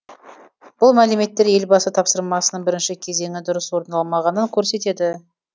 бұл мәліметтер елбасы тапсырмасының бірінші кезеңі дұрыс орындалмағанын көрсетеді